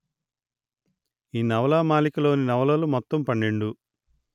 ఈ నవలామాలికలోని నవలలు మొత్తం పన్నెండు